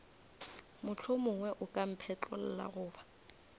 mohlomongwe o ka mphetlolla goba